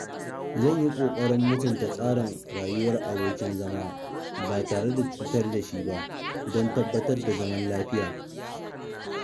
zan yi ƙoƙarin mutunta tsarin rayuwar abokin zama ba tare da cutar da shi ba don tabbatar da zaman lafiya.